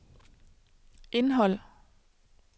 indhold